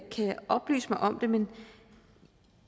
oplyse mig om det men